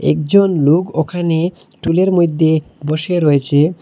একজন লোক ওখানে টুলের মইধ্যে বসে রয়েছে।